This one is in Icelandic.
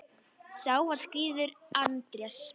Sá var skírður Andrés.